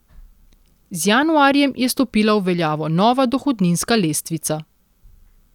Z januarjem je stopila v veljavo nova dohodninska lestvica.